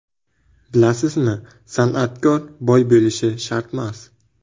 Bilasizmi, san’atkor boy bo‘lishi shartmas.